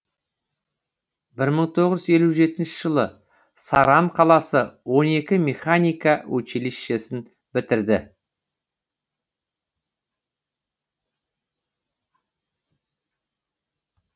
бір мың тоғыз жүз елу жетінші жылы саран қаласы он екі механика училищесін бітірді